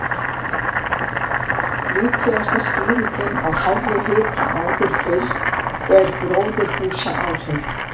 Líklegasta skýringin á hærri hita áður fyrr er gróðurhúsaáhrif.